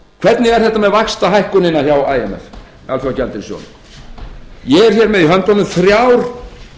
hvernig er þetta með vaxtahækkunina hjá imf alþjóðagjaldeyrissjóðnum ég er með í höndunum þrjár